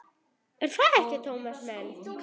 Er það ekki, Tómas minn?